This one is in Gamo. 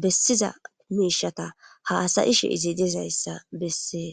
bessiza miishata haasayishe izidezayssa bessee.